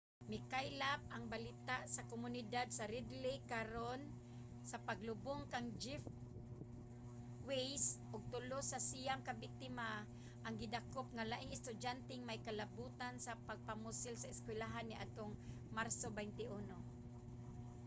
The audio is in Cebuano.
mikaylap ang balita sa komunidad sa red lake karon sa paglubong kang jeff weise ug tulo sa siyam ka biktima ang gidakop nga laing estudyanteng may kalabotan sa mga pagpamusil sa eskuwelahan niadtong marso 21